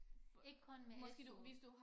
Ikke kun med SU